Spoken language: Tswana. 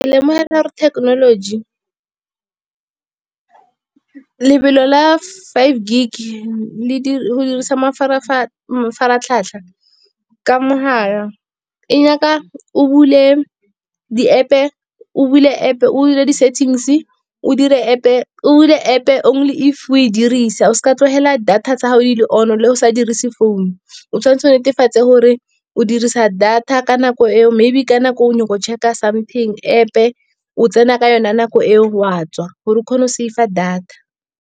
lemogela gore technology lebelo la five gig le dirisa mafaratlhatlha ka mogala. E nyaka o bule di-App-e o bule di-settings, o bule App-e only if o e dirisa. O seka wa tlogela data tsa gage di le on-o, le ga o sa dirise phone. O tshwanetse o netefatse gore o dirisa data ka nako eo, maybe ka nako e o o nyaka go check-a something, App-e o tsena ka yone nako e o a tswa gore o kgone go saver data.